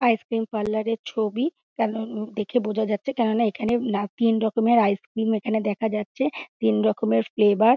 আইস cream parlour -এর ছবি । কেনো দেখে বোঝা যাচ্ছে কেনো না এখানে তিন রকমের আইস ক্রিম এখানে দেখা যাচ্ছে তিন রকমের ফ্লেভার ।